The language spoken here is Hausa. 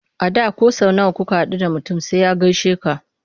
A da ko sau nawa kuka haɗu da mutum sai ya gaishe ka.